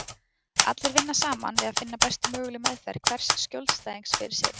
Allir vinna þar saman við að finna bestu mögulegu meðferð hvers skjólstæðings fyrir sig.